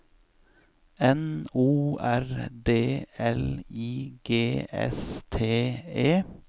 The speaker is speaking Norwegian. N O R D L I G S T E